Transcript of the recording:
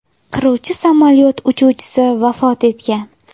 Qiruvchi samolyot uchuvchisi vafot etgan.